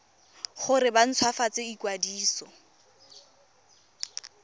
gore ba nt hwafatse ikwadiso